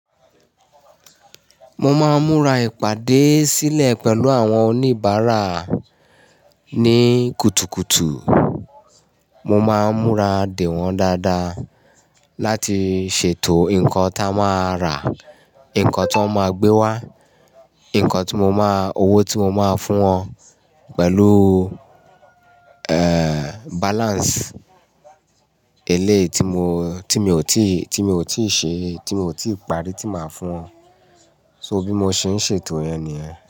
Mo máa ń múra ìpàdé sílẹ̀ pẹ̀lú àwọn oníbàárà ní kùtùkùtù. Mo máa ń múra de wọ́n dáadáa láti ṣètò nǹkan táa máa rà, nǹkan tí wọ́n máa gbé wá, nǹkan tí mo máa, owó tí mo máa fún wọn pẹ̀lú, eeh, balance eléyìí tí mo, tí mi ò tí, tí mi ò tíì ṣe, tí mi ò tí ìparí tí màá fún wọn. So bí mo ṣe ń ṣètò yẹn nìyẹn.